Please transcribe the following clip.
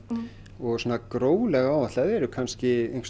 og gróflega áætlað eru kannski einhvers